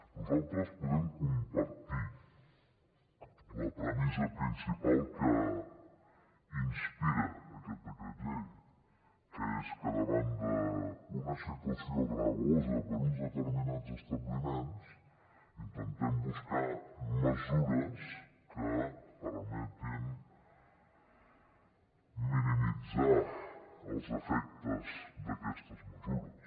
nosaltres podem compartir la premissa principal que inspira aquest decret llei que és que davant una situació gravosa per a uns determinats establiments intentem buscar mesures que permetin minimitzar els efectes d’aquestes mesures